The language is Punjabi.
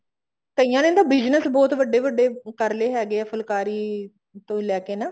ਕਈਆਂ ਨੇ ਤਾਂ business ਬਹੁਤ ਵੱਡੇ ਵੱਡੇ ਕਰ ਲਏ ਫੁਲਕਾਰੀ ਤੋਂ ਲੈਕੇ ਨਾ